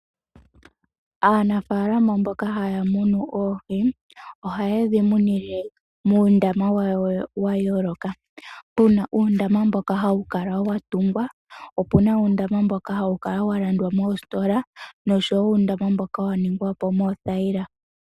Aanafaalama mboka haya munu oohi, ohaye dhi munine muundama wadho wa yooloka. Pu na uundama mbono hawu kala wa tungwa, opu na uundama mboka hawu kala wa landwa mostola nosho wo uundama mboka wa ningwa po moothayila.